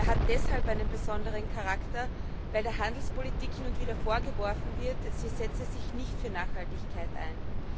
Er hat deshalb einen besonderen Charakter, weil der Handelspolitik hin und wieder vorgeworfen wird, sie setze sich nicht für Nachhaltigkeit ein.